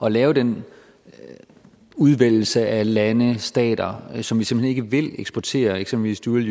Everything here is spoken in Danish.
at lave den udvælgelse af lande stater som vi simpelt hen ikke vil eksportere eksempelvis dual